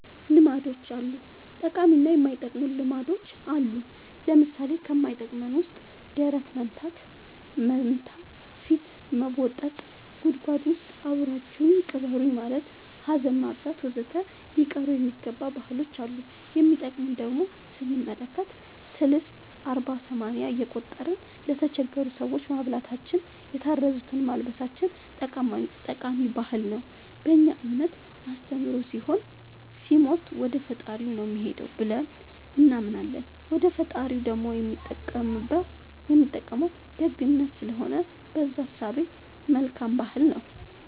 ልማዶች አሉ ጠቃሚ እና የማይጠቅሙ ልማዶች አሉን ለምሳሌ ከማይጠቅመን ውስጥ ደረት መምታ ፊት መቦጠጥ ጉድጎድ ውስጥ አብራችሁኝ ቅበሩኝ ማለት ሀዘን ማብዛት ወዘተ ሊቀሩ የሚገባ ባህሎች አሉ የሚጠቅሙን ደሞ ስንመለከት ሰልስት አርባ ሰማንያ እየቆጠርን ለተቸገሩ ሰዎች ማብላታችን የታረዙትን ማልበሳችን ጠቃሚ ባህል ነው በእኛ እምነት አስተምሮ ሰው ሲሞት ወደፈጣሪው ነው የሚሄደው ብለን እናምናለን ወደ ፈጣሪው ደሞ የሚጠቅመው ደግነት ስለሆነ በእዛ እሳቤ መልካም ባህል ነው